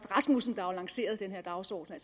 rasmussen der lancerede denne dagsorden og